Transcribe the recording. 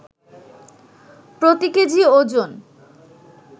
প্রতি কেজি ওজন